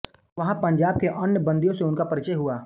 वहाँ पंजाब के अन्य बंदियों से उनका परिचय हुआ